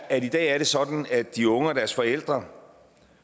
at i dag er det sådan at de unge og deres forældre